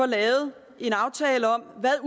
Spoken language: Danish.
lavet en aftale om hvad